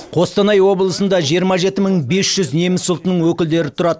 қостанай облысында жиырма жеті мың бес жүз неміс ұлтының өкілдері тұрады